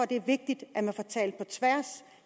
det er vigtigt at man får talt sammen på tværs